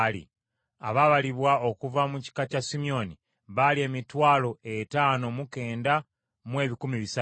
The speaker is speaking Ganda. Abaabalibwa okuva mu kika kya Simyoni baali emitwalo etaano mu kenda mu ebikumi bisatu (59,300).